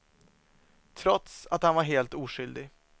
Trots att han var helt oskyldig.